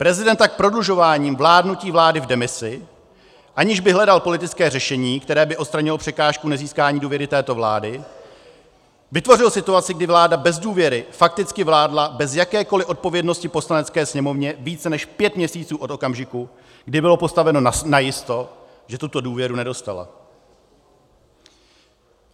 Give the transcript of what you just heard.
Prezident tak prodlužováním vládnutí vlády v demisi, aniž by hledal politické řešení, které by odstranilo překážku nezískání důvěry této vládě, vytvořil situaci, kdy vláda bez důvěry fakticky vládla bez jakékoli odpovědnosti Poslanecké sněmovně více než pět měsíců od okamžiku, kdy bylo postaveno najisto, že tuto důvěru nedostala.